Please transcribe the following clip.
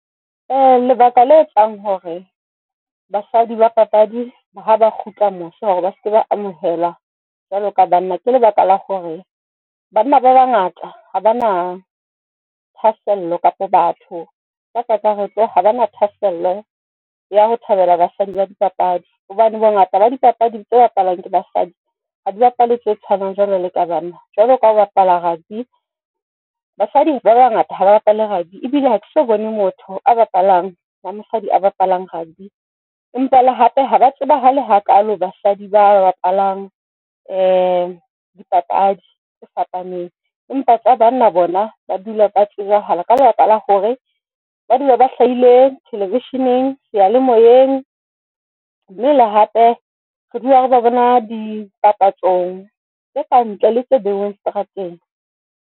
Lebaka le etsang hore basadi ba papadi haba kgutla mose hore ba seke ba amohelwa jwalo ka banna, ke lebaka la hore banna ba bangata ha bana thasello kapa batho ka kakaretso ha bana thahasello ya ho thabela basadi ba dipapadi hobane bongata ba dipapadi tse bapalwang ke basadi ha di bapale tse tshwanang jwalo ka tsa banna jwaloka ho bapala ya rugby. Basadi ba bangata ha ba bapale rugby, e bile ha ke so bone motho a bapalang ba mosadi a bapalang rugby. Empa le hape haba tsebahala hakalo. Basadi ba bapalang dipapadi tse fapaneng, empa tsa banna bona ba dula ba tsebahala ka lebaka la hore ba dula ba hlahile thelevisheneng, seyalemoyeng mme le hape re dula re ba bona dipapatsong tse ka ntle le tse beilweng seterateng.